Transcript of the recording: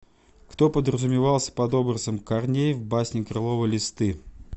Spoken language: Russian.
кто подразумевался под образом корней в басне крылова листы